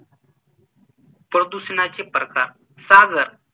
प्रदूषणाचे प्रकार सागर